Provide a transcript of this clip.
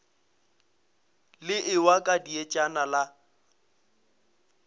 le ewa ka dietšana la